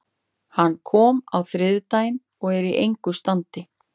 Hann kom á þriðjudaginn og er í engu standi.